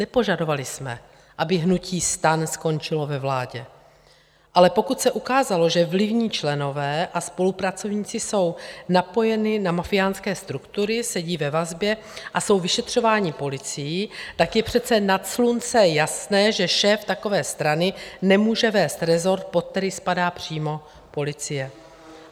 Nepožadovali jsme, aby hnutí STAN skončilo ve vládě, ale pokud se ukázalo, že vlivní členové a spolupracovníci jsou napojeni na mafiánské struktury, sedí ve vazbě a jsou vyšetřováni policií, tak je přece nad slunce jasné, že šéf takové strany nemůže vést rezort, pod který spadá přímo policie.